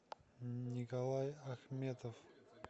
николай ахметов